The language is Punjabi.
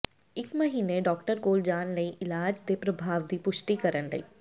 ਇਕ ਮਹੀਨੇ ਡਾਕਟਰ ਕੋਲ ਜਾਣ ਲਈ ਇਲਾਜ ਦੇ ਪ੍ਰਭਾਵ ਦੀ ਪੁਸ਼ਟੀ ਕਰਨ ਲਈ